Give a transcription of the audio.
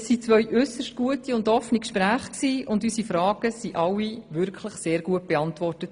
Es waren zwei äusserst gute und offene Gespräche, und unsere Fragen wurden alle wirklich sehr gut beantwortet.